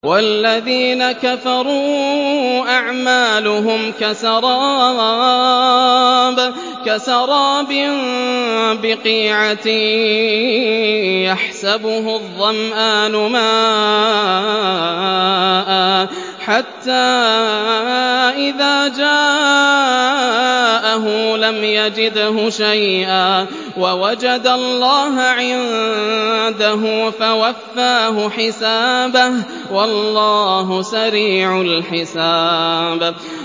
وَالَّذِينَ كَفَرُوا أَعْمَالُهُمْ كَسَرَابٍ بِقِيعَةٍ يَحْسَبُهُ الظَّمْآنُ مَاءً حَتَّىٰ إِذَا جَاءَهُ لَمْ يَجِدْهُ شَيْئًا وَوَجَدَ اللَّهَ عِندَهُ فَوَفَّاهُ حِسَابَهُ ۗ وَاللَّهُ سَرِيعُ الْحِسَابِ